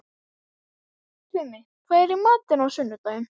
Tumi, hvað er í matinn á sunnudaginn?